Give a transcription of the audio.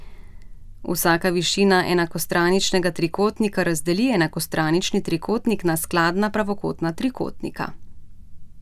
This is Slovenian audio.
Vsaka višina enakostraničnega trikotnika razdeli enakostranični trikotnik na skladna pravokotna trikotnika.